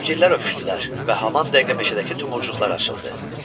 Sevgililər öpüşdülər və haman dəqiqə meşədəki tumurcuqlar açıldı.